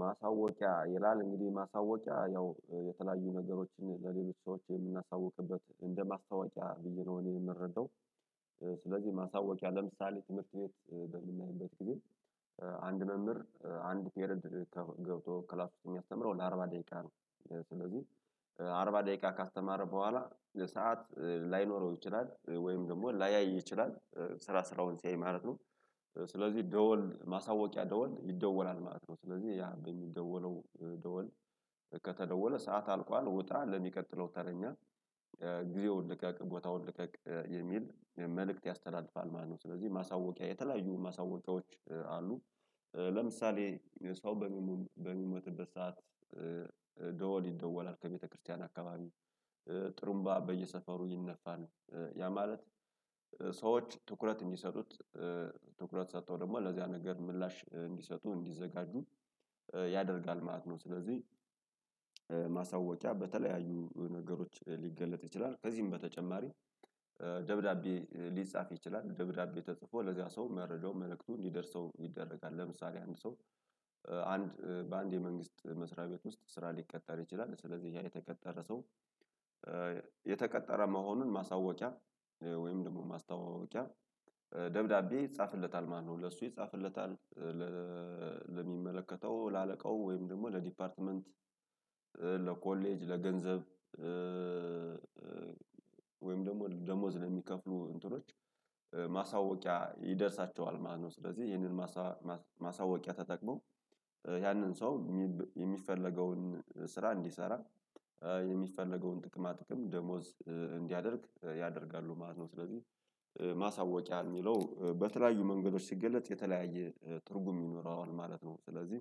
ማሳወቂያ ይላል እንግዲህ ማሳወቂያ ያው የተለያዩ ነገሮችን ለሌሎች ሰዎች የምናሳውቅበት እንደ ማስታወቂያ ብዬ ነው እኔ የምረዳው። ስለዚህ ማስታወቂያ ለምሳሌ ትምህርት ቤት በምናይበት ጊዜ። አንድ መምህር አንድ ፔሬድ ገብቶ ክላስ ውስጥ የሚያስተምረው ለአርባ ደቂቃ ነው ስለዚህ አ አርባ ደቂቃ ካስተማረ በኋላ ሰዓት ላይኖረው ይችላል ወይም ደግሞ ላያይ ይችላል ስራ ስራውን ሲያይ ማለት ነው። ስለዚህ ደወል ማሳወቂያ ደወል ይደወላል ማለት ነው ስለዚህ ያ በሚደወለው ደወል ከተደወለ ሰዓት አልቋል ውጣ ለሚቀጥለው ተረኛ። ግዜውን ውን ልቀቅ ቦታውን ልቀቅ የሚል መልእክት ያስተላልፋል ማለት ነው። ስለዚህ ማሳወቂያ የተለያዩ ማሳወቂያዎች አሉ። ለምሳሌ ሰው በሚሞ በሚሞትበት ሰዓት። ደወል ይደወላል ከቤተክርስቲያን አካባቢ ጥሩምባ በየሰፈሩ ይነፋል። ያ ማለት ሰዎች ትኩረት እንዲሰጡት ትኩረት ሰጥተው ደግሞ ለዚያ ነገር ምላሽ እንዲሰጡ እንዲዘጋጁ ያደርጋል ማለት ነው። ስለዚህ። ማሳወቂያ በተለያዩ ነገሮች ሊገለጥ ይችላል ከዚህም በተጨማሪ። ደብዳቤ ሊጻፍ ይችላል ደብዳቤ ተጽፎ ለዚያ ሰው መረጃው መልእክቱ እንዲደርሰው ይደረጋል። ለምሳሌ አንድ ሰው አንድ በአንድ የመንግስት መስሪያ ቤት ውስጥ ስራ ሊቀጠር ይችላል ስለዚህ ያ የተቀጠረ ሰው። የተቀጠረ መሆኑን ማሳወቂያ ወይም ደግሞ ማስተዋወቂያ ደብዳቤ ይጻፍለታል ማለት ነው። ለእሱ ይጻፍለታል ለ ለሚመለከተው ለአለቃው ወይም ደግሞ ለዲፓርትመንት። ለኮሌጅ ለገንዘብ ወይም ደግሞ ደሞዝ ለሚከፍሉ እንትኖች ማሳወቂያ ይደርሳቸዋል ማለት ነው። ስለዚህ ይህንን ማሳማስ ማሳወቂያ ተጠቅሞ ያንን ሰው የሚፈለገውን ስራ እንዲሰራ የሚፈለገውን ጥቅማ ጥቅም ደሞዝ እንዲያደርግ ያደርጋሉ ማለት ነው። ስለዚህ ማሳወቂያ የሚለው በተለያዩ መንገዶች ሲገለጽ የተለያየ ትርጉም ይኖረዋል ማለት ነው። ስለዚህ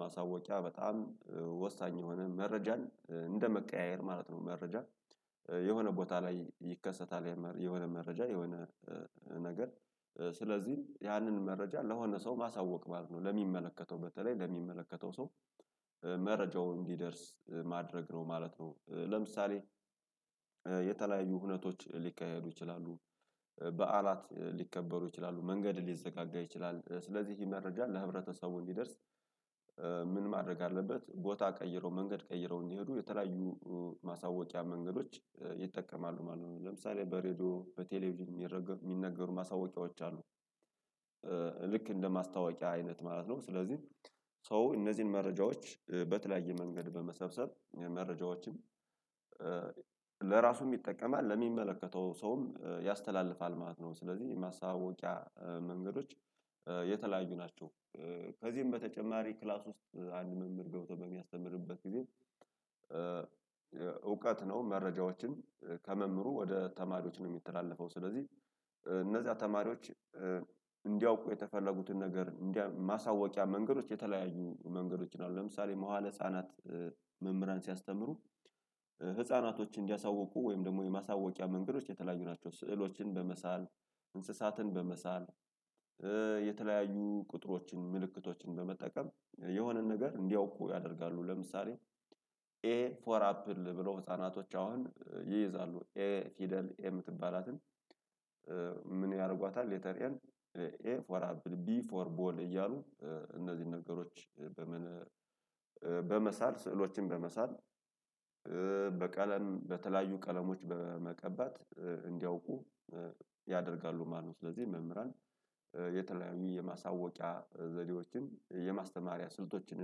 ማሳወቂያ በጣም ወሳኝ የሆነ መረጃን እንደመቀያየር ማለት ነው። መረጃ የሆነ ቦታ ላይ ይከሰታል የሆነ መረጃ የሆነ ነገር። ስለዚህ ያንን መረጃ ለሆነ ሰው ማሳወቅ ማለት ነው። ለሚመለከተው በተለይ ለሚመለከተው ሰው መረጃውን እንዲደርስ ማድረግ ነው ማለት ነው። ለምሳሌ የተለያዩ ሁነቶች ሊካሄዱ ይችላሉ። በዓላት ሊከበሩ ይችላሉ መንገድ ሊዘጋጋ ይችላል ስለዚህ ይሄ መረጃ ለህብረተሰቡ እንዲደርስ። ምን ማድረግ አለበት ቦታ ቀይረው መንገድ ቀይረው እንዲሄዱ የተለያዩ ማሳወቂያ መንገዶች ይጠቀማሉ ማለት ነው። ለምሳሌ በሬድዮ በቴሌቪዥን ሚረገ የሚነገሩ ማሳወቂያዎች አሉ። ልክ እንደ ማስታወቂያ አይነት ማለት ነው። ስለዚህ ሰው እነዚህን መረጃዎች በተለያየ መንገድ በመሰብሰብ መረጃዎችን። ለራሱም ይጠቀማል ለሚመለከተው ሰውም ያስተላልፋል ማለት ነው። ስለዚህ የማሳወቂያ መንገዶች የተለያዩ ናቸው። ከዚህም በተጨማሪ ክላስ ውስጥ አንድ መምህር ገብቶ በሚያስተምርበት ጊዜ። እውቀት ነው መረጃዎችን ከመምህሩ ወደ ተማሪዎች ነው የሚተላለፈው። ስለዚህ እነዛ ተማሪዎች እንዲያውቁ የተፈለጉትን ነገር እንዲያ ማሳወቂያ መንገዶች የተለያዩ መንገዶች ነው። ለምሳሌ መዋለ ህፃናት መምህራን ሲያስተምሩ ህፃናቶች እንዲያሳውቁ ወይም ደግሞ የማሳወቂያ መንገዶች የተለያዩ ናቸው። ስዕሎችን በመሳል እንስሳትን በመሳል። የተለያዩ ቁጥሮችን ምልክቶችን በመጠቀም የሆነን ነገር እንዲያውቁ ያደርጋሉ። ለምሳሌ ኤ ኤ ፎር አፕል ብሎ ህፃናቶች አሁን ይይዛሉ ኤ ፊደል ኤ የምትባላትን? ምን ያደርጓታል ሌተር ኤን። ኤ ፎር አብል ቢ ፎር ቦል እያሉ እነዚህን ነገሮች በምን? በመሳል ስዕሎችን በመሳል በቀለን በተለያዩ ቀለሞች በመቀባት እንዲያውቁ ያደርጋሉ ማለት ነው። ስለዚህ መምህራን የተለያዩ የማሳወቂያ ዘዴዎችን የማስተማሪያ ስልቶችን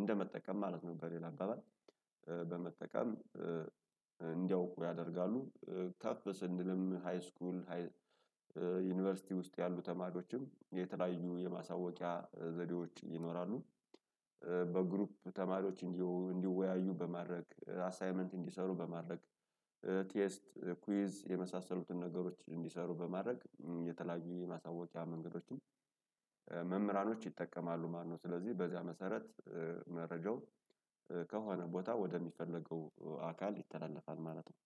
እንደመጠቀም ማለት ነው። በሌላ አባባል በመጠቀም እንዲያውቁ ያደርጋሉ። ከፍ ስንልም ሃይስኩል ሃይ ዩኒቨርሲቲ ውስጥ ያሉ ተማሪዎችም የተለያዩ የማሳወቂያ ዘዴዎች ይኖራሉ። በግሩፕ ተማሪዎች እንዲዎ እንድወያዩ በማድረግ አሳይመንት እንዲሰሩ በማድረግ። ቴስት ኩዊዝ የመሳሰሉትን ነገሮች እንዲሰሩ በማድረግ የተለያዩ የማሳወቂያ መንገዶችን መምህራኖች ይጠቀማሉ ማለት ነው። ስለዚህ በዚያ መሰረት መረጃው ከሆነ ቦታ ወደሚፈለገው አካል ይተላለፋል ማለት ነው።